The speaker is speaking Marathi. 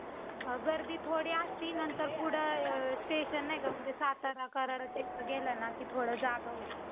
Hello हा, आवाज येतोय तुम्हाला?